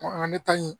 An bɛ taa ɲini